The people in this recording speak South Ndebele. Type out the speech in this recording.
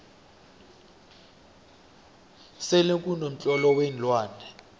selekuno mtlolo weenlwane